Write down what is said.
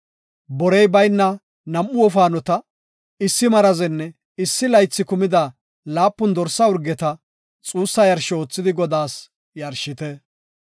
Borey bayna nam7u wofaanota, issi marazenne issi laythi kumida laapun dorsa urgeta xuussa yarsho oothidi Godaas yarshite.